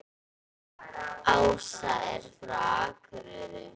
Ása er frá Akureyri.